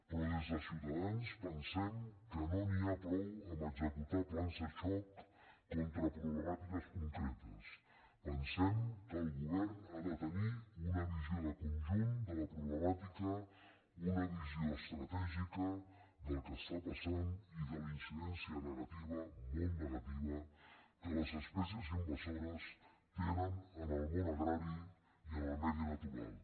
però des de ciutadans pen·sem que no n’hi ha prou d’executar plans de xoc con·tra problemàtiques concretes pensem que el govern ha de tenir una visió de conjunt de la problemàtica una visió estratègica del que està passant i de la inci·dència negativa molt negativa que les espècies inva·sores tenen en el món agrari i en el medi natural